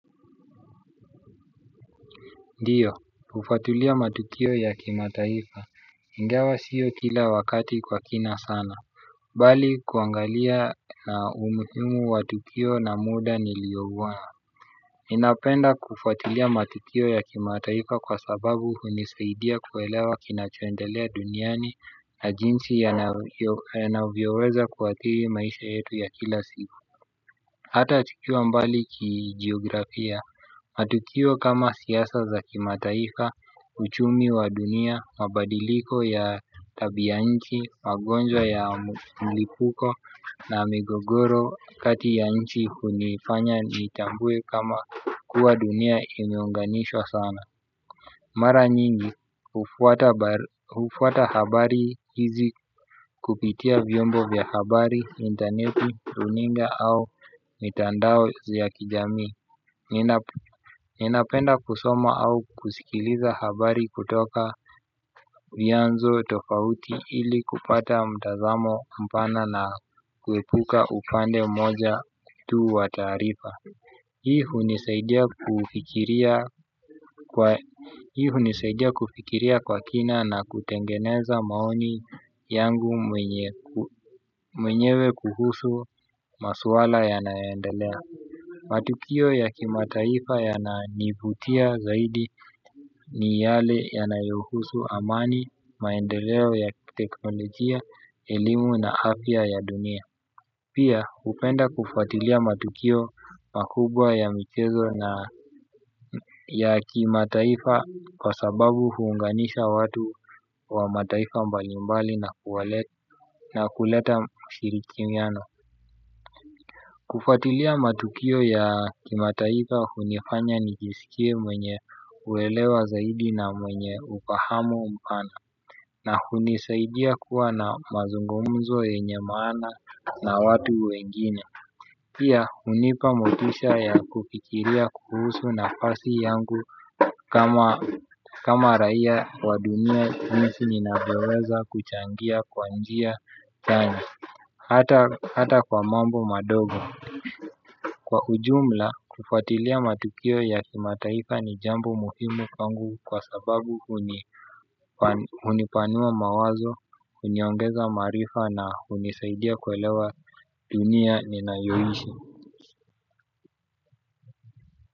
Ndiyo, hufuatilia matukio ya kimataifa, ingawa siyo kila wakati kwa kina sana, bali kuangalia na umuhimu wa tukio na muda nilioguwa. Ninapenda kufuatilia matukio ya kimataifa kwa sababu hunisaidia kuelewa kinachoendelea duniani na jinsi yanavyoweza kuathiri maisha yetu ya kila siku. Hata tukiwa mbali kijiografia, matukio kama siasa za kimataifa, uchumi wa dunia, mabadiliko ya tabia ya nchi, magonjwa ya mlipuko na migogoro kati ya nchi hunifanya nitambue kama kuwa dunia imeunganishwa sana. Mara nyingi, hufuata habari hizi kupitia vyombo vya habari intaneti, runinga au mitandao za kijamii. Ninapenda kusoma au kusikiliza habari kutoka vyanzo tofauti ili kupata mtazamo mpana na kuepuka upande moja tu wa taarifa. Hii hunisaidia kufikiria kwa kina na kutengeneza maoni yangu mwenyewe kuhusu maswala yanayoendelea. Matukio ya kimataifa yananivutia zaidi ni yale yanayoyuhusu amani maendeleo ya teknolojia, elimu na afya ya dunia. Pia hupenda kufuatilia matukio makubwa ya michezo na ya kimataifa kwa sababu huunganisha watu wa mataifa mbalimbali na kuleta mshirikiano. Kufuatilia matukio ya kimataifa hunifanya nijisikie mwenye uelewa zaidi na mwenye ufahamu mpana. Na hunisaidia kuwa na mazungomzo yenye maana na watu wengine. Pia hunipa motisha ya kufikiria kuhusu nafasi yangu kama raia wa dunia jinsi ninavyoweza kuchangia kwa njia chanya. Hata kwa mambo madogo. Kwa ujumla kufuatilia matukio ya kimataifa ni jambo muhimu kwangu kwa sababu hunipanua mawazo, huniongeza maarifa na hunisaidia kuelewa dunia ninayoishi.